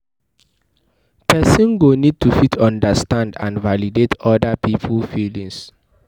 person go need to fit understand and validate oda pipo feelings